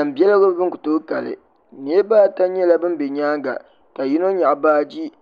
Biɛla ban ku tooi kali niriba ata nyɛla ban be nyaanga ka yino nyaɣi baaji